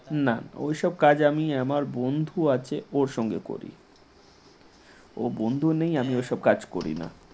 নানা ওইসব কাজ আমি আমার বন্ধু আছে সঙ্গে করি । ও বন্ধুও নেই এসব কাজ করি না ।